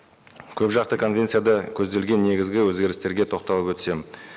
көпжақты конвенцияда көзделген негізгі өзгерістерге тоқталып өтсем